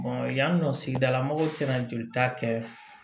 yan nɔ sigidala mɔgɔw tɛna jolita kɛ